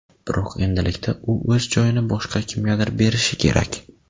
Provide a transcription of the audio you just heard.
Biroq endilikda u o‘z joyini boshqa kimgadir berishi kerak.